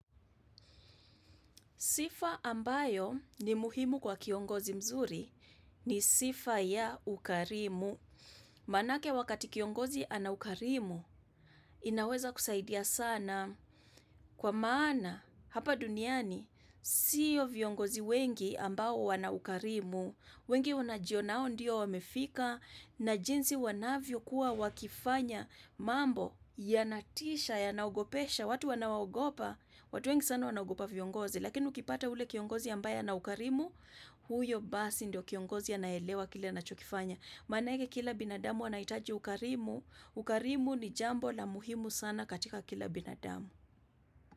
Sifa ambayo ni muhimu kwa kiongozi mzuri ni sifa ya ukarimu. Maanake wakati kiongozi ana ukarimu, inaweza kusaidia sana. Kwa maana, hapa duniani, siyo viongozi wengi ambao wana ukarimu, wengi wanajionao ndio wamefika, na jinsi wanavyo kuwa wakifanya mambo yanatisha, yanaogopesha, watu wanaogopa, watu wengi sana wanaogopa viongozi. Lakini ukipata ule kiongozi ambaye ana ukarimu, huyo basi ndio kiongozi anaelewa kile anachokifanya. Manaake kila binadamu anaitaji ukarimu. Ukarimu ni jambo la muhimu sana katika kila binadamu.